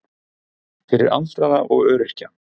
Fyrir aldraða og öryrkja.